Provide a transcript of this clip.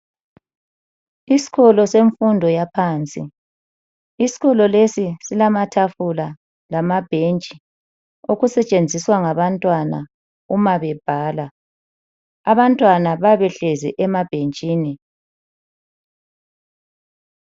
Isikolo semfundo yaphansi. Isikolo lesi silamatafula lamabhentshi okusetshenziswa ngabantwana uma bebhala. Abantwana bayabe behlezi emabhentshini.